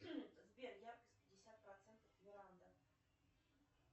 сбер яркость пятьдесят процентов веранда